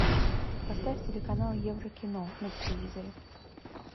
поставь телеканал еврокино на телевизоре